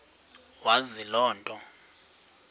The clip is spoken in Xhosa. wazi loo nto